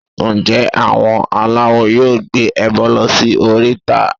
Ǹjẹ́ àwọn aláwo yóò gbé ẹbọ lọ sí oríta?